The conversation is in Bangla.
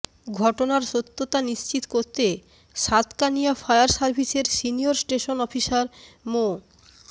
ঘটনার সত্যতা নিশ্চিত করে সাতকানিয়া ফায়ার সার্ভিসের সিনিয়র স্টেশন অফিসার মো